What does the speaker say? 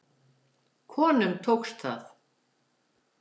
Konunum tókst það.